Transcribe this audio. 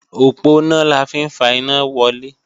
Òponá la fi ń fa iná wọlé